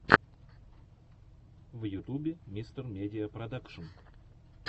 в ютубе мистер медиа продакшн